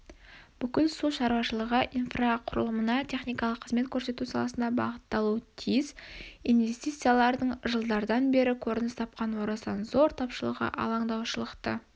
бүкіл су шаруашылығы инфрақұрылымына техникалық қызмет көрсету саласына бағытталуы тиіс инвестициялардың жылдардан бері көрініс тапқан орасан зор тапшылығы алаңдаушылықты